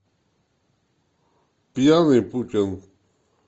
пьяный путин